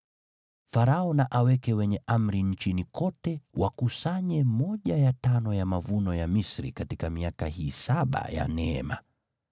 Farao na aweke wenye amri nchini kote wakusanye sehemu ya tano ya mavuno ya Misri katika miaka hii saba ya neema.